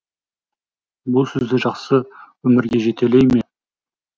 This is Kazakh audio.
бұл сізді жақсы өмірге жетелей ме